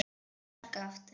Sparkað aftur.